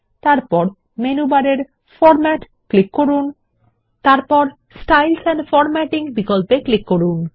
এরপর মেনু বারের format click করুন এবং স্টাইলস এন্ড ফরম্যাটিং বিকল্পে ক্লিক করুন